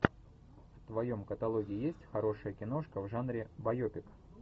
в твоем каталоге есть хорошая киношка в жанре байопик